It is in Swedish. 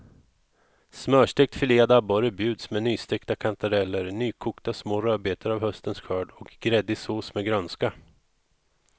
Smörstekt filead abborre bjuds med nystekta kantareller, nykokta små rödbetor av höstens skörd och gräddig sås med grönska.